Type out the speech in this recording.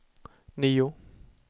nio